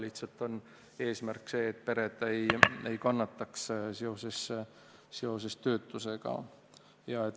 Lihtsalt eesmärk on see, et pered ei kannataks töötuse tõttu.